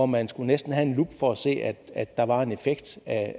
man næsten have en lup for at se at at der var en effekt af